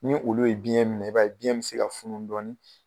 Ni olu ye biyɛn minɛ i b'a biyɛn bɛ se ka funu dɔɔnin